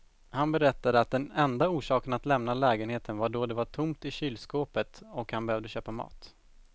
Han berättade att den enda orsaken att lämna lägenheten var då det var tomt i kylskåpet och han behövde köpa mat.